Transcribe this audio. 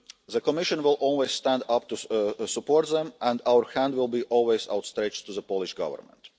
people. The Commission will always stand up to support them, and our hands will always be outstretched to the Polish Government.